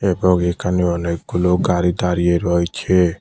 এবং এখানে অনেকগুলো গাড়ি দাঁড়িয়ে রয়েছে।